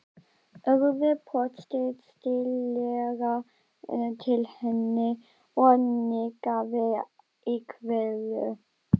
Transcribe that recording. Urður brosti stillilega til hennar og nikkaði í kveðju